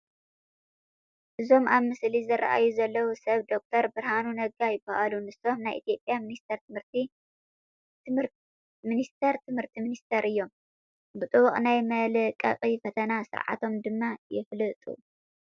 እዞም ኣብ ምስሊ ዝርአዩ ዘለዉ ሰብ ዶክተር ብርሃኑ ነጋ ይበሃሉ፡፡ ንሶም ናይ ኢትዮጵያ ሚኒስተር ትምህርቲ ሚኒስተር እዮም፡፡ ብጥቡቕ ናይ መልቀቂ ፈተና ስርዓቶም ድማ ይፍለጡ፡፡